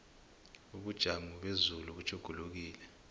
ubujamo bezulu butjhugulukile